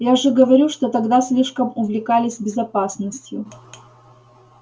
я же говорю что тогда слишком увлекались безопасностью